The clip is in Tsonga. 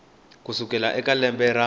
ku sukela eka lembe ra